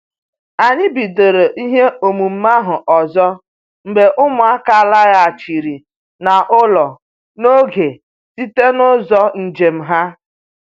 Anyị bidoro ihe omume ahụ ọzọ mgbe ụmụaka laghachiri n'ụlọ n'oge site n'ụzọ njem ha